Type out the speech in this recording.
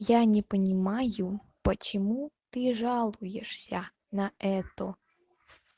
я не понимаю почему ты жалуешься на это